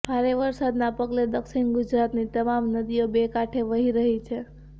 ભારે વરસાદના પગલે દક્ષિણ ગુજરાતની તમામ નદીઓ બે કાંઠે વહી રહી છે